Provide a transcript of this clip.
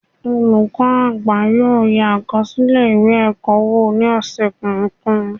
Olukọni àgbá yóò yé akọsilẹ ìwé ẹkọ wò, ni opin ọsẹ kọọkan